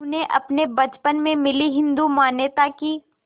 उन्हें अपने बचपन में मिली हिंदू मान्यताओं की